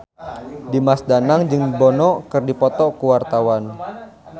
Dimas Danang jeung Bono keur dipoto ku wartawan